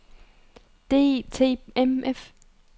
DTMF